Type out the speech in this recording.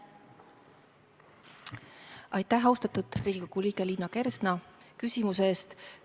Aitäh, austatud Riigikogu liige Liina Kersna, küsimuse eest!